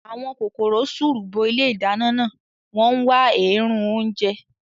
Àwọn kòkòrò sùùrù bo ilé ìdáná náà, wọ́n ń wá èérún oúnjẹ